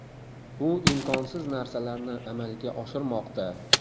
U imkonsiz narsalarni amalga oshirmoqda.